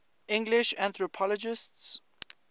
english anthropologists